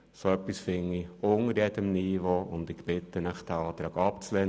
So etwas finde ich unter jedem Niveau, und ich bitte Sie, diesen Antrag abzulehnen.